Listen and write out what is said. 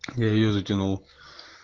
я её затянул